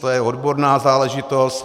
To je odborná záležitost.